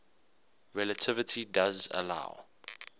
relativity does allow